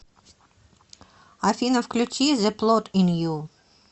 афина включи зэ плот ин ю